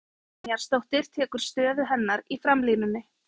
Dagný Brynjarsdóttir tekur stöðu hennar í framlínunni.